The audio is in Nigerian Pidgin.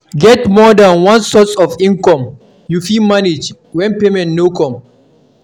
Get more than one source of income you fit manage when payment no come